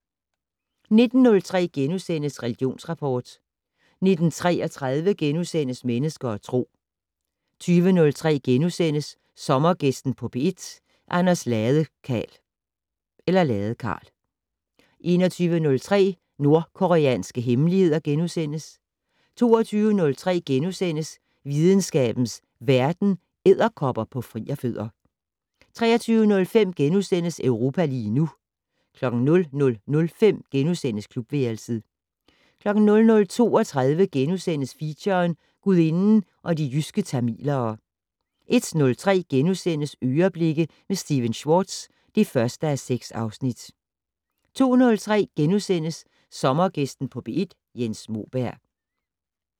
19:03: Religionsrapport * 19:33: Mennesker og Tro * 20:03: Sommergæsten på P1: Anders Ladekarl * 21:03: Nordkoreanske hemmeligheder * 22:03: Videnskabens Verden: Edderkopper på frierfødder * 23:05: Europa lige nu * 00:05: Klubværelset * 00:32: Feature: Gudinden og de jyske tamilere * 01:03: "Øreblikke" med Stephen Schwartz (1:6)* 02:03: Sommergæsten på P1: Jens Moberg *